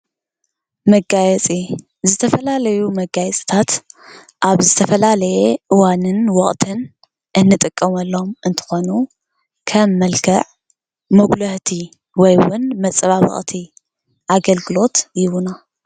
መጋየፂ ዝተፈላለዩ መጋየፅታት ኣብ ዝተፈላለየ እዋንን ወቕትን እንጥቀመሎም እንትኾኑ ከም መልክዕ መጉላህቲ ወይ እውን መፀባበቕቲ ኣገልግሎት ይህቡና፡፡